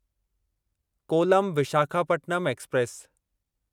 कोलम Visakhapatnam express